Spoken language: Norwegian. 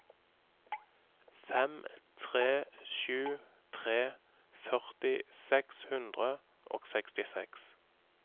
fem tre sju tre førti seks hundre og sekstiseks